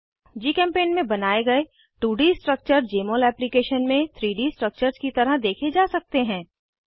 जीचेम्पेंट में बनाये गए 2डी स्ट्रक्चर्स जमोल एप्लीकेशन में 3डी स्ट्रक्चर्स की तरह देखे जा सकते हैं